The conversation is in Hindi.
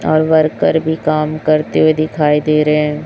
और वर्कर भी काम करते हुए दिखाई दे रहे हैं।